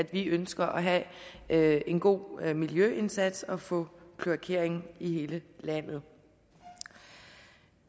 vi ønsker at have en god miljøindsats og få kloakering i hele landet